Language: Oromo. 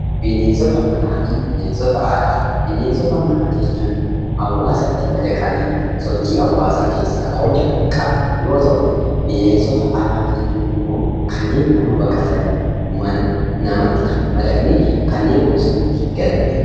Bineensota manaa fi bineensota alaa: Bineensota manaa jechuun hawaasatti madaqanii sochii hawaasaa keessaa qooda kan qaban yoo ta'u bineensota alaa jechuun immoo kanneen nama baqatanii mana namatti kan hin madaqne kanneen bosonatti galan jechaadha.